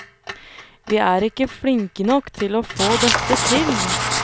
Vi er ikke flinke nok til å få dette til.